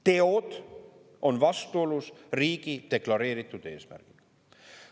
Teod on vastuolus riigi deklareeritud eesmärkidega.